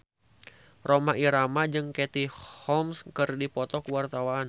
Rhoma Irama jeung Katie Holmes keur dipoto ku wartawan